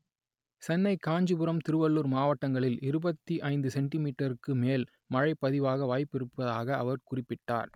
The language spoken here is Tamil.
சென்னை காஞ்சிபுரம் திருவள்ளூர் மாவட்டங்களில் இருபத்தி ஐந்து சென்டி மீட்டருக்கு மேல் மழை பதிவாக வாய்ப்பிருப்பதாக அவர் குறிப்பிட்டார்